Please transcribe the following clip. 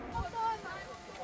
Orada evdəyik!